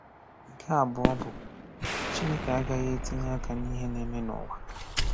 Nke abụọ bụ: Chineke agaghị etinye aka n’ihe na-eme n’ụwa.